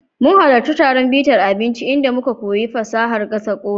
Mun halarci taron bitar abinci inda muka koyi fasahar gasa Uda.